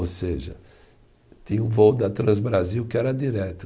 Ou seja, tinha um voo da Transbrasil que era direto.